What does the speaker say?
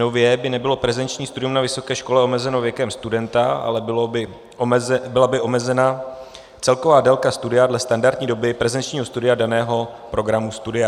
Nově by nebylo prezenční studium na vysoké škole omezeno věkem studenta, ale byla by omezena celková délka studia dle standardní doby prezenčního studia daného programu studia.